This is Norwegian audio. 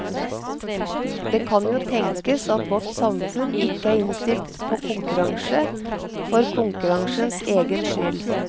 Det kan jo tenkes at vårt samfunn ikke er innstilt på konkurranse for konkurransens egen skyld.